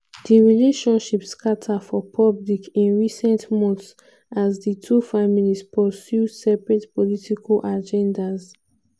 di relationship scata for public in recent months as di two families pursue separate political agendas.